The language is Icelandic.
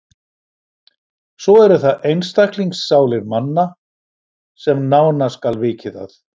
Svo eru það einstaklingssálir manna, sem nánar skal vikið að.